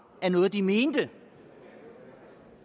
var noget de mente